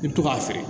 I bi to k'a feere